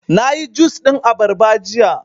Na yi jus ɗin abarba jiya